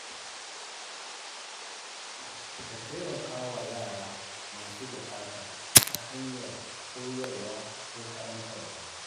Ka taimaka wa yara masu buƙata ta hanyar koyarwa ko karantarwa.